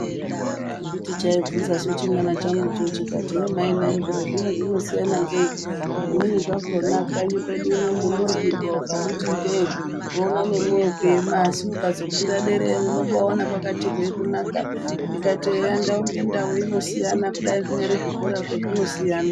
Anditi chaubvunzasu chimwana changucho chikati hee mai nai zviro zvino zvinosiyana ngei? Zvimweni zvakhona kanyi kwedu uno munodyrirwa ukamuti ndee unoona nemwoyo kuema. Asi ukazokwira dera iyoyo unobaona kwakati hwee kunaka. Ndikati eyaa ndau ngendau inosiyana kudai zvinyari zvikorazvo zvinosiyana.